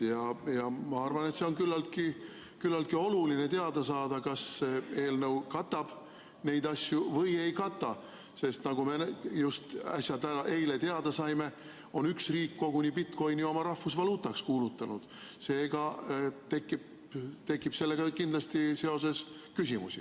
Ma arvan, et on küllaltki oluline teada saada, kas see eelnõu katab neid asju või ei kata, sest nagu me just äsja, eile teada saime, on üks riik bitcoin'i koguni oma rahvusvaluutaks kuulutanud ja seega tekib kindlasti sellega seoses küsimusi.